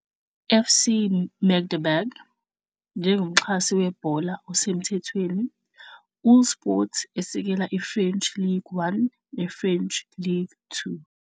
FC Magdeburg, Njengomxhasi webhola osemthethweni uhlsport esekela i-French Ligue 1 ne-French Ligue 2.